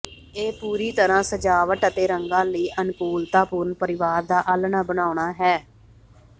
ਇਹ ਪੂਰੀ ਤਰ੍ਹਾਂ ਸਜਾਵਟ ਅਤੇ ਰੰਗਾਂ ਲਈ ਅਨੁਕੂਲਤਾਪੂਰਨ ਪਰਿਵਾਰ ਦਾ ਆਲ੍ਹਣਾ ਬਣਾਉਣਾ ਹੈ